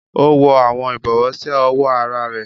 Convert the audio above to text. O wọ awọn ibọwọ si ọwọ àrà rẹ